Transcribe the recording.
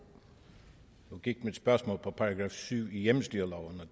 gik mit spørgsmål på § syv i hjemmestyreloven